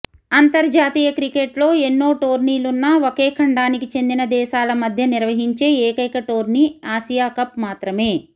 అంతర్జాతీయ క్రికెట్లో ఎన్ని టోర్నీలున్నా ఒకే ఖండానికి చెందిన దేశాల మధ్య నిర్వహించే ఏకైక టోర్నీ ఆసియా కప్ మాత్రమే